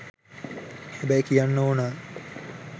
හැබැයි කියන්න ඕනා